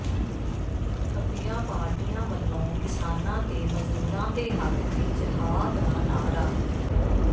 ਖੱਬੀਆਂ ਪਾਰਟੀਆਂ ਵੱਲੋਂ ਕਿਸਾਨਾਂ ਤੇ ਮਜ਼ਦੂਰਾਂ ਦੇ ਹੱਕ ਵਿੱਚ ਹਾਅ ਦਾ ਨਾਅਰਾ